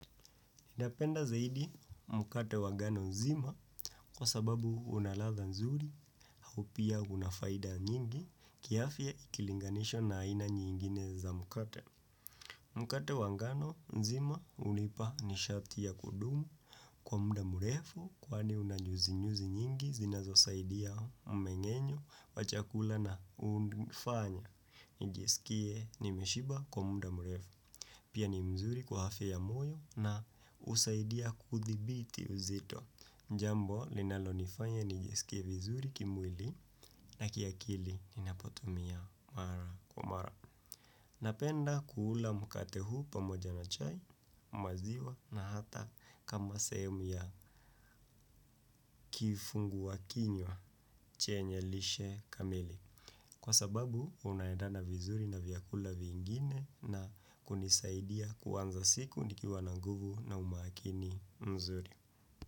Ndapenda zaidi mkate wa ngano nzima kwa sababu una latha nzuri hau pia unafaida nyingi kiafya ikilinganishwa na aina nyingine za mkate. Mkate wa ngano nzima unipa nishati ya kudumu kwa muda murefu kwani unanyuzinyuzi nyingi zinazo saidia umengenyo wa chakula na unifanya. Nijisikie nimeshiba kwa muda mrefu. Pia ni mzuri kwa afya ya moyo na usaidia kuthibiti uzito jambo linalo nifanya nijisikie vizuri kimwili na kiakili ninapotumia mara kwa mara. Napenda kuula mkate huu pamoja na chai maziwa na hata kama sehemu ya kifungua kinywa chenye lishe kamili. Kwa sababu, unaedana vizuri na vyakula vingine na kunisaidia kuanza siku nikiwa na nguvu na umakini mzuri.